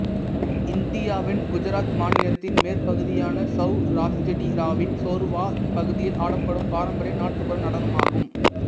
இந்தியாவின் குஜராத் மாநிலத்தின் மேற்குப்பகுதியான செளராஷ்டிராவின் சோர்வாத் பகுதியில் ஆடப்படும் பாரம்பரிய நாட்டுப்புற நடனம் ஆகும்